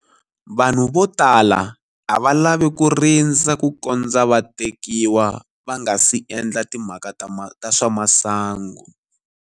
Vanhu vo tala a va lavi ku rindza kukondza va tekiwa va nga si endla timhaka ta swa masangu.